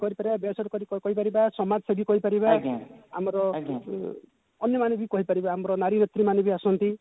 କହିପାରିବା ବେସରକାରୀ କହିପାରିବା ସମାଜସେବୀ କହିପାରିବା ଆମର ଅନ୍ୟମାନଙ୍କୁବୀ କହିପାରିବା ଆମର ନାରୀ ନେତ୍ରୀ ମାନେ ବି ଆସନ୍ତି